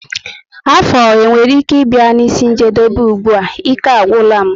Afọ enwere ike i bia n'isi njedebe ùgbúà? ike agwula m